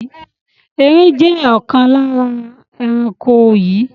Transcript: Erin jẹ́ ọ̀kan lára àwọn ẹranko yii